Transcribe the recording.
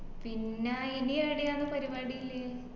പിന്നാ ഇനി ഏടെയാന്ന് പരിപാടിളെ